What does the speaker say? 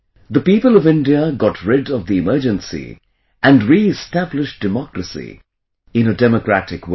The people of India got rid of the emergency and reestablished democracy in a democratic way